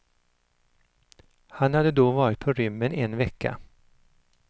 Han hade då varit på rymmen en vecka.